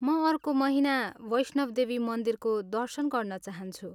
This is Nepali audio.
म अर्को महिना वैष्णव देवी मन्दिरको दर्शन गर्न चाहन्छु।